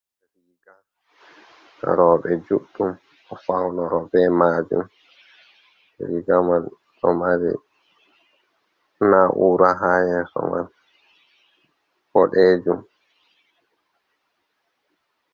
Roɓe duɗɗum do faunoro be majum, rigamai do mari naura ha yeso man bodejum.